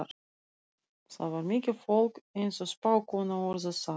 Þar var mikið fólk, eins og spákonan orðar það.